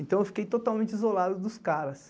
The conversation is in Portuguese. Então, eu fiquei totalmente isolado dos caras.